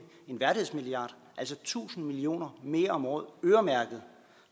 så tusind million mere om året øremærket